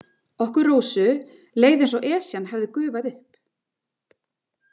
Okkur Rósu leið eins og Esjan hefði gufað upp.